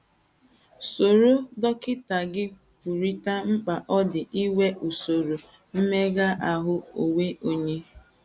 Soro dọkịta gị kwurịta mkpa ọ dị inwe usoro mmega ahụ́ onwe onye..